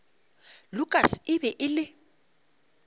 lukas e be e le